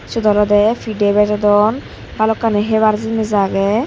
sut olode pide bejodon bhalokkani hebar jinich age.